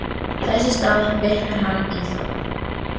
Þess í stað vitnar hann í þá.